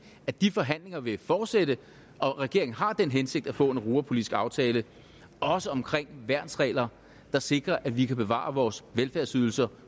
at de forhandlinger vil fortsætte og at regeringen har den hensigt at få en europapolitisk aftale også omkring værnsregler der sikrer at vi kan bevare vores velfærdsydelser